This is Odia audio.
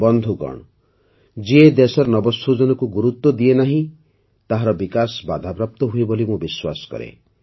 ବନ୍ଧୁଗଣ ଯିଏ ଦେଶର ନବସୃଜନକୁ ଗୁରୁତ୍ୱ ଦିଏନି ତାହାର ବିକାଶ ବାଧାପ୍ରାପ୍ତ ହୁଏ ବୋଲି ମୁଁ ବିଶ୍ୱାସ କରେ